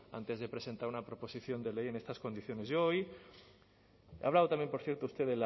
antes de presentar una proposición de ley en estas condiciones yo hoy ha hablado también por cierto usted